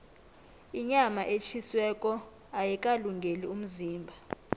inyama etjhisiweko ayikalungeli umzimba